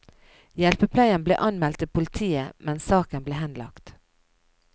Hjelpepleieren ble anmeldt til politiet, men saken ble henlagt.